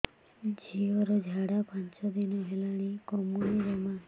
ଝିଅର ଝାଡା ପାଞ୍ଚ ଦିନ ହେଲାଣି କମୁନି ଜମା